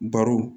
Barow